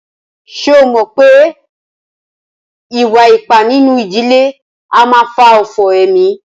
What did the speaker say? Ṣé ẹ mọ̀ wípé ìwà ipá nínú ìdílé a máà fà òfò emí?